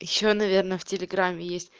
ещё наверное в телеграме есть